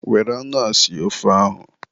Were anụ a sie ofe ahụ echi!